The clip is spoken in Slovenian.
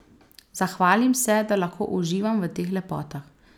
Zahvalim se, da lahko uživam v teh lepotah.